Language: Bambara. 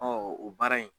o baara in